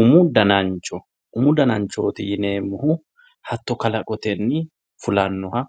Umu danancho, umu dananchoti yineemmohu hatto kalaqotenni fullanoha